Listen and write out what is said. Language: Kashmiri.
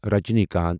رجنیکانتھ